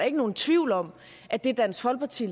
ikke nogen tvivl om at det dansk folkeparti